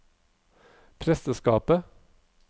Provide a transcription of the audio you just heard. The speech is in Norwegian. presteskapet